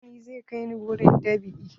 Dantani zai kai ni wurin dab'i.